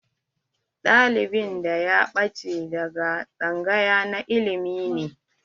Ɗalibin da ya ɓache daga tsangaya na ilimi ne.